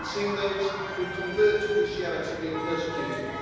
We've seen those who convert to Christianity being persecuted.